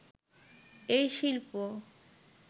এই শিল্প